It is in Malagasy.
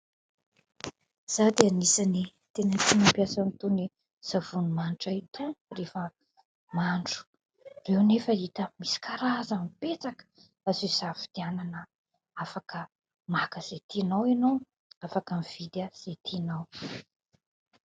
Izaho dia anisan'ny tena tia mampiasa itony savony manitra itony rehefa mandro. Ireo anefa hita misy karazany betsaka azo hisafidianana ; afaka maka izay tianao ianao, afaka mividy izay tianao.